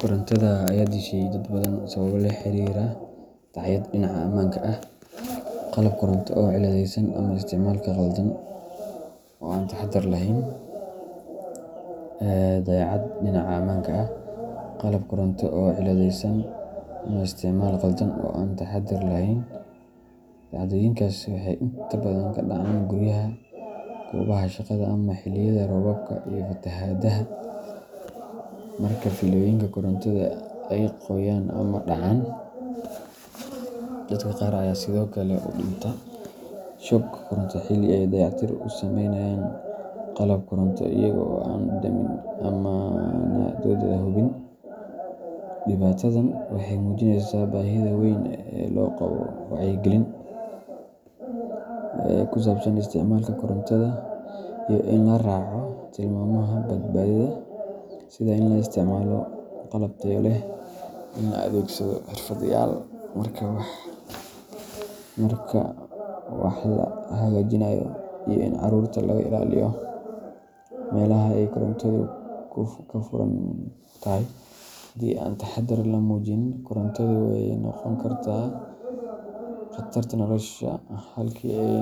Korontada ayaa dishay dad badan sababo la xiriira dayacaad dhinaca ammaanka ah, qalab koronto oo cilladaysan, ama isticmaal khaldan oo aan taxaddar lahayn. Dhacdooyinkaas waxay inta badan ka dhacaan guryaha, goobaha shaqada, ama xilliyada roobabka iyo fatahaadaha marka fiilooyinka korontada ay qoyaan ama dhacaan. Dadka qaar ayaa sidoo kale u dhinta shoog koronto xilli ay dayactir ku sameynayaan qalab koronto iyaga oo aan damin amaanadooda hubin. Dhibaatadan waxay muujinaysaa baahida weyn ee loo qabo wacyigelin ku saabsan isticmaalka korontada iyo in la raaco tilmaamaha badbaadada, sida in la isticmaalo qalab tayo leh, in la adeegsado xirfadlayaal marka wax la hagaajinayo, iyo in carruurta laga ilaaliyo meelaha ay korontadu ka furan tahay. Haddii aan taxaddar la muujin, korontadu waxay noqon kartaa qatarta nolosha halkii ay